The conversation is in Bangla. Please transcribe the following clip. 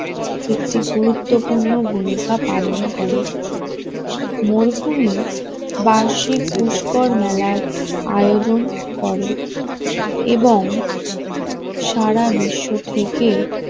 একটি গুরুত্বপূর্ণ ভূমিকা পালন করে মরুভূমি বার্ষিক মেলার আয়োজন করে এবং সারা বিশ্ব থেকে